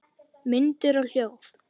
Myndir og hljóð